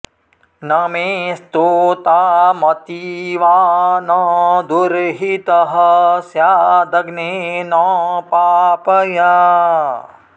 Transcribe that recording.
न मे॑ स्तो॒ताम॑ती॒वा न दुर्हि॑तः॒ स्याद॑ग्ने॒ न पा॒पया॑